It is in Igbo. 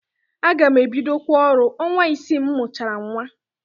Aga m ebidokwa ọrụ ọnwa isii m mụchara nnwa.